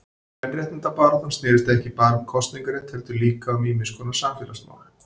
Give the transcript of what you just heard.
Kvenréttindabaráttan snérist ekki bara um kosningarétt heldur líka um ýmiskonar samfélagsmál.